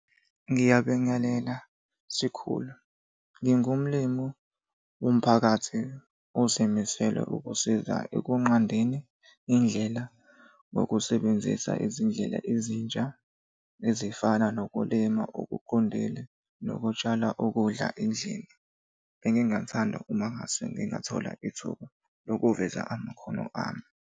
Ngiyabingelela sikhulu. Ngingumlimu womphakathi ozimisele ukusiza ekunqandeni indlela ngokusebenzisa izindlela ezintsha ezifana nokulima okuqondile, nokutshala ukudla endlini. Bengingathanda uma ngase ngingathola ithuba lokuveza amakhono ami.